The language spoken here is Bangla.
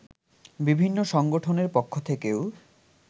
বিভিন্ন সংগঠনের পক্ষ থেকেও